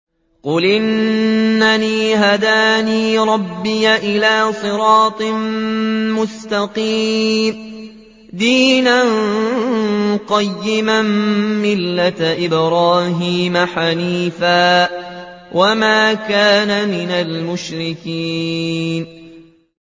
قُلْ إِنَّنِي هَدَانِي رَبِّي إِلَىٰ صِرَاطٍ مُّسْتَقِيمٍ دِينًا قِيَمًا مِّلَّةَ إِبْرَاهِيمَ حَنِيفًا ۚ وَمَا كَانَ مِنَ الْمُشْرِكِينَ